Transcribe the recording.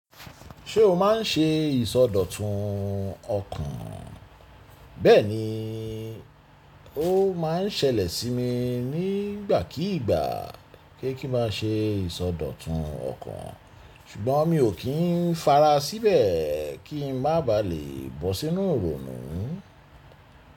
Ṣé o má n ṣe ìsọdọ̀tun ọkàn? Bẹ́ẹ̀ni, ó ma ń ṣẹlẹ̀ sí mi nígbàkígbà pe kí n má a ṣe ìsọdọ̀tun ọkàn ṣùgbọ́n mi ò kí n fara síbẹ̀ kí n má baà lè bọ́ sínú ironu.